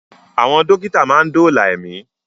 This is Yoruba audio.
Àwọn dókítà máa ń dóòlà ẹ̀mí